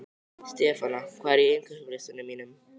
Stefana, hvað er á innkaupalistanum mínum?